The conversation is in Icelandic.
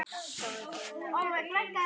Þá hefðum við aldrei kynnst